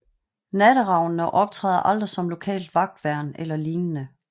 Natteravnene optræder aldrig som lokalt vagtværn eller lignende